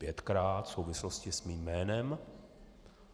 Pětkrát v souvislosti s mým jménem.